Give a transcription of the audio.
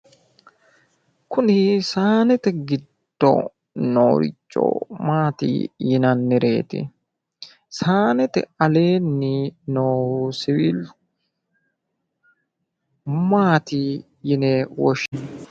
Kuni saanete giddo nooricho maati yinannireeti? Saanete aleenni noo siwiili maati yine woshshinanni?